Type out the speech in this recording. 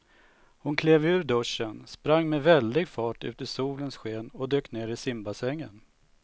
Hon klev ur duschen, sprang med väldig fart ut i solens sken och dök ner i simbassängen.